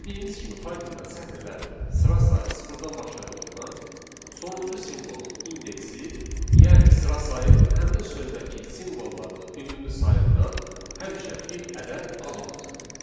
Dediyimiz kimi, Pythonda sətirlərin sıra sayı sıfırdan başladığından sonuncu simvolun indeksi, yəni sıra sayı, həmin sözdəki simvolların ümumi sayından həmişə bir ədəd az olacaq.